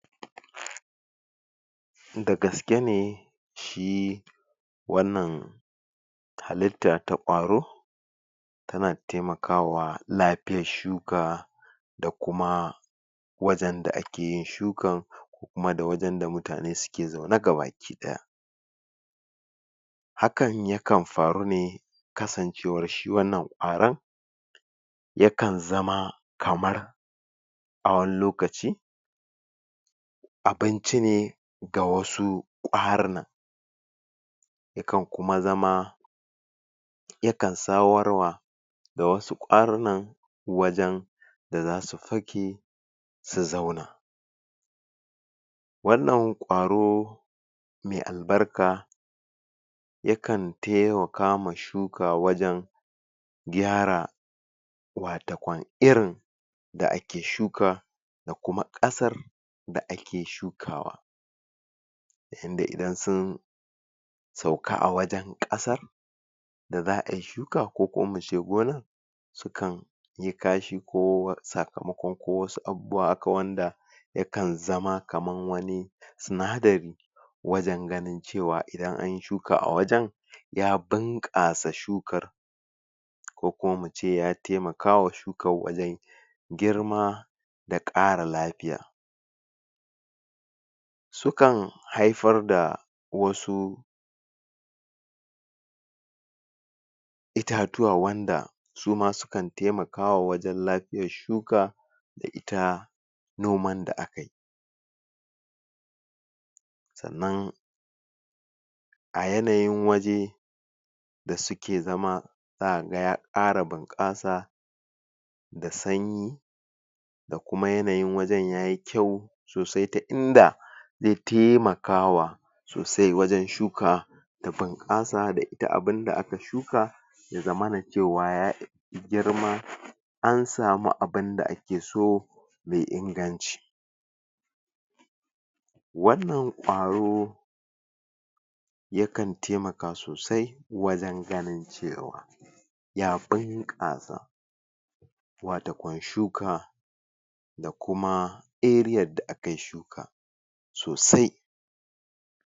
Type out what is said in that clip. dagaske ne shi wannan halitta ta ƙwaro tana taimakawa lafiyan shuka da kuma wajen da ake yin shukan har ma da wajen da mutane suke zaune gaba ki ɗaya hakan ya kan faru ne kasancewar shi wannan ƙwaro ya kan zama kamar a wani lokaci abinci ne ga wasu ƙwarunan ya kan kuma zama ya kan sawar wa da wasu ƙwarunan wajen da zasu fake su zauna wannan ƙwaro mai albarka ya kan taiwaka ma shuka wajen gyara watakwan irin da ake shuka da kuma ƙasar da ake shukawa inda idan sun sauka a wajen ƙasar da za'ayi shuka ko kuma mu ce gonar su kan yi kashi ko sakamakon ko wasu abubuwa haka wanda ya kan zama kaman wani sinadari wajen ganin cewa idan anyi shuka a wajen ya bunƙasa shukar ko kuma mu ce ya taimakawa shukan wajen girma da ƙara lafiya su kan haifar da wasu itatuwa wanda su ma su kan taimakawa wajen lafiyan shuka da ita noman da aka yi sannan a yanayin waje da suke zama zaka ga ya ƙara bunƙasa da sanyi da kuma yanayin wajen yayi kyau sosai ta inda zai taimakawa sosai wajen shuka ta bunƙasa da ita abinda aka shuka ya zamana cewa ya girma an samu abinda ake so mai inganci wannan ƙwaro ya kan taimaka sosai wajen ganin cewa ya bunƙasa watakwan shuka da kuma ariyar da akayi shuka sosai